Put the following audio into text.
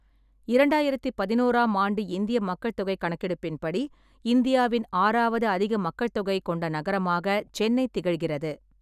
இரண்டாயிரத்தி பதினோராம் ஆண்டு இந்திய மக்கள் தொகை கணக்கெடுப்பின்படி, இந்தியாவின் ஆறாவது அதிக மக்கள்தொகை கொண்ட நகரமாக சென்னை திகழ்கிறது.